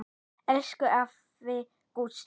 Elsku afi Gústi.